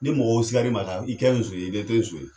Ni mɔgɔw sigar'i ma ka i kɛ zon ye i de tɛ zon ye.